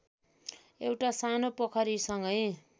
एउटा सानो पोखरीसँगै